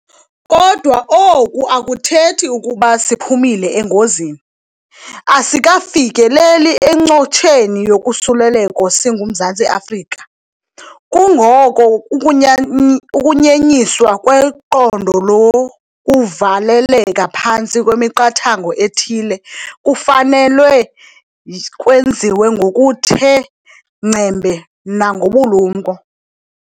Kodwa oku akuthethi ukuba siphumile engozini. Asikafikeleli encotsheni yokusuleleko singuMzantsi Afrika. Kungoko ukunyenyiswa kweqondo lokuvaleleka phantsi kwemiqathango ethile kufanelwe kwenziwe ngokuthe ngcembe nangobulumko.